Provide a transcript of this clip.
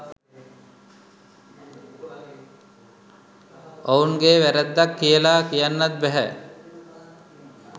ඔවුන්ගේ වැරැද්දක් කියලා කියන්නත් බැහැ